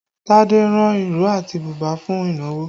Tade ran ìró àti bùbá fún ìnáwó